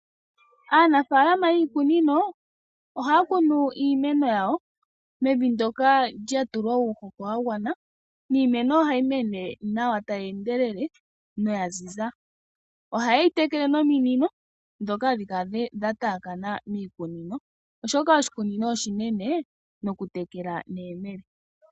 Aanafalama yiikunino ohaya kunu iimeno yawo mevi ndoka lya tulwa uuhoho wa gwana, niimeno ohayi mene nawa tayi endelele noya ziza. Ohaye yi tekele nominino ndhoka hadhi kala dha taakana miikunino, oshoka oshikunino oshinene nokutekela neyemele.